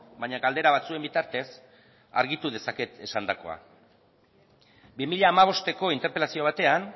baina galdera batzuen bitartez argitu dezaket esandakoa bi mila hamabosteko interpelazio batean